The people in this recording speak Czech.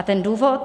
A ten důvod?